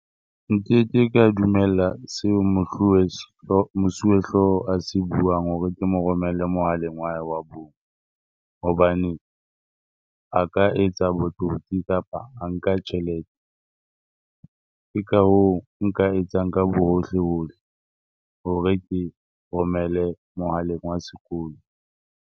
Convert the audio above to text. Nkeke ka dumella seo Mosuwehlooho a se buang hore ke mo romele mohaleng wa hae bong hobane a ka etsa botsotsi kapa a nka tjhelete. Ke ka hoo nka etsang ka bo hohlehohle hore ke e romele mohaleng wa sekolo.